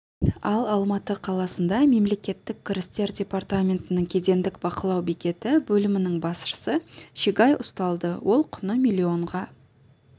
ал алматы қаласында мемлекеттік кірістер департаментінің кедендік бақылау бекеті бөлімінің басшысы шегай ұсталды ол құны миллионға